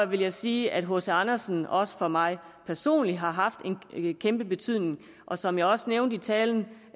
vil sige at hc andersen også for mig personligt har haft en kæmpe betydning og som jeg også nævnte i talen